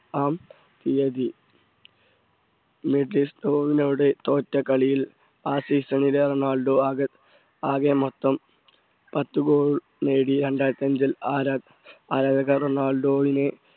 ആം തീയതി മെജിസ്ട്വിനോട് തോറ്റ കളിയിൽ ആ season ൽ റൊണാൾഡോ ആകെ ആകെ മൊത്തം പത്തു goal നേടി രണ്ടായിരത്തി അഞ്ചിൽ ആരാധ~ആരാധകർ റൊണാൾഡോവിനെ